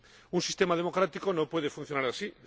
Un sistema democrático no puede funcionar así.